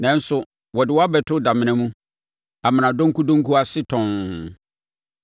Nanso wɔde wo abɛto damena mu, amena donkudonku ase tɔnn.